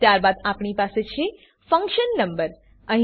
ત્યારબાદ આપણી પાસે છે ફંકશન નંબર ફંક્શન ક્રમાંક